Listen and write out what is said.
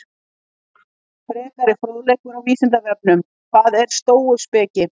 Frekari fróðleikur á Vísindavefnum: Hvað er stóuspeki?